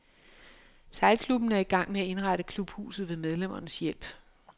Sejlklubben er i gang med at indrette klubhuset ved medlemmernes hjælp.